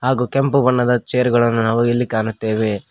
ಹಾಗು ಕೆಂಪು ಬಣ್ಣದ ಚೇರುಗಳನ್ನು ನಾವು ಇಲ್ಲಿ ಕಾಣುತ್ತೇವೆ.